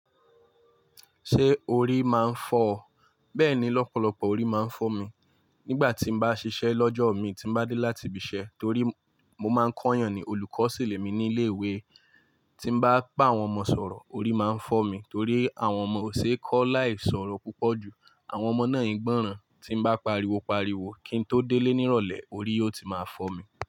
Ṣé orí máa ń fọ ọ? Bẹ́ẹ̀ni, lọ́pọ̀lọpọ̀ orí máa ń fọ́ mi. Nígbà tí n bá ṣiṣẹ́ lọ́jọ́ imi tí n bá dé láti ibiṣẹ́ torí mo máa ń kọ́ eeyàn ní olùkọ́ ṣilẹ̀ mi ní ilé ìwé. Tí n bá bà áwọn ọmọ sọ̀rọ̀, orí máa ń fọ́ mi torí àwọn ọmọ ò ṣe é kọ́ láì sọ̀rọ̀ púpọ̀ jù. Àwọn ọmọ náà ń gbọ́ran. Tí n bá pariwo pariwo kí n tó délé ní ìrọ̀lẹ́, orí ó ti máa fọ́ mi.